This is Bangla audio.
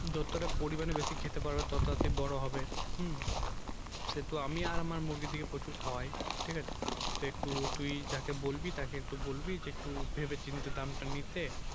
যতটা পরিমাণে বেশি খেতে পাবে যত তাড়াতাড়ি বড় হবে হুম যেহেতু আমি আমার মুরগি দিকে প্রচুর খাওয়াই ঠিক আছে তো একটু তুই যাকে বলবি তাকে একটু বলবি যে ভেবেচিন্তে দামটা নিতে